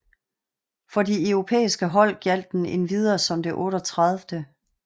For de europæsike hold gjaldt den endvidere som det 38